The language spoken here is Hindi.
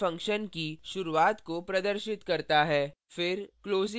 opening curly bracket main function की शुरुआत को प्रदर्शित करता है